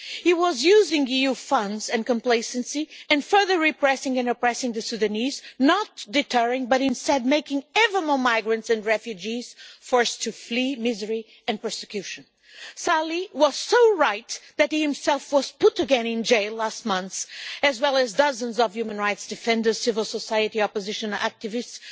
He was using EU funds and complacency and further repressing and oppressing the Sudanese, not deterring but instead making ever more migrants and refugees forced to flee misery and persecution. Salih was so right that he himself was again put in jail last month, as well as dozens of human rights defenders and civil society opposition activists.